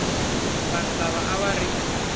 vanhu lava a va ri